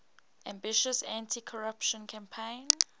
ambitious anticorruption campaign